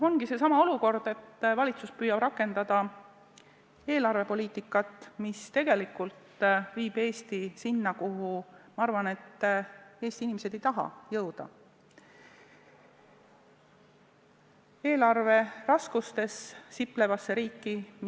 Ongi seesama olukord, et valitsus püüab rakendada eelarvepoliitikat, mis tegelikult viib Eesti sinna, kuhu, ma arvan, Eesti inimesed ei taha jõuda: eelarveraskustes siplevasse riiki.